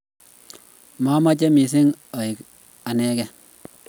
mamache mising aek anegei